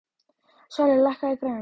Svali, lækkaðu í græjunum.